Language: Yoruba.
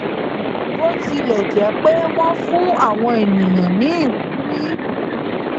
bó tilè jé pé wón fun àwọn ènìyàn ní ìwúrí